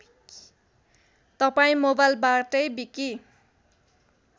तपाईँ मोवाइलबाटै विकि